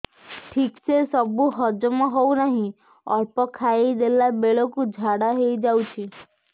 ଠିକସେ ସବୁ ହଜମ ହଉନାହିଁ ଅଳ୍ପ ଖାଇ ଦେଲା ବେଳ କୁ ଝାଡା ହେଇଯାଉଛି